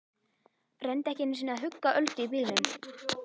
Reyndi ekki einu sinni að hugga Öldu í bílnum.